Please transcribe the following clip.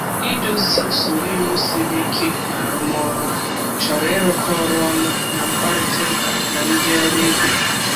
Idozi usoro iwu siri ike na arụmọrụ chọrọ ịrụkọ ọrụ ọnụ na mkparịta ụka na ndị ọrụ ibe.